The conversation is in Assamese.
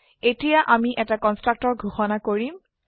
এতিয়া আমি এটা কন্সট্ৰকটৰ ঘোষনা কৰিম